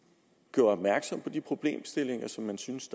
gjorde opmærksom på de problemstillinger som man syntes